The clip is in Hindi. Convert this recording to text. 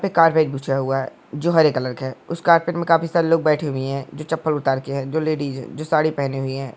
एक कार्पेट बिछा हुआ है जो हरे कलर है उस कार्पेट में काफी सारे लोग बैठे हुई है जो चप्पल उतार के है जो लेडीज है जो सारी पहनि हुई है।